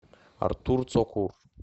артур цокур